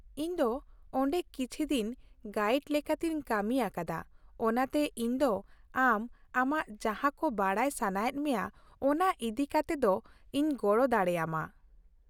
-ᱤᱧ ᱫᱚ ᱚᱸᱰᱮ ᱠᱤᱪᱷᱤ ᱫᱤᱱ ᱜᱟᱭᱤᱰ ᱞᱮᱠᱟᱛᱮᱧ ᱠᱟᱹᱢᱤᱭᱟᱠᱟᱫᱟ, ᱚᱱᱟᱛᱮ ᱤᱧ ᱫᱚ ᱟᱢ, ᱟᱢ ᱡᱟᱦᱟᱸᱠᱚ ᱵᱟᱰᱟᱭ ᱥᱟᱱᱟᱭᱮᱫ ᱢᱮᱭᱟ ᱚᱱᱟ ᱤᱫᱤ ᱠᱟᱛᱮᱫ ᱤᱧ ᱜᱚᱲᱚ ᱫᱟᱲᱮᱭᱟᱢᱟ ᱾